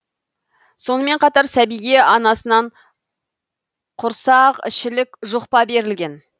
сонымен қатар сәбиге анасынан құрсақішілік жұқпа берілген